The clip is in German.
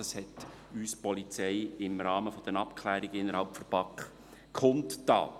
Das tat uns die Polizei im Rahmen der Abklärungen innerhalb der BaK kund.